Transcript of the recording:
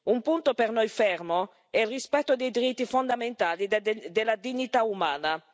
Un punto per noi fermo è il rispetto dei diritti fondamentali e della dignità umana.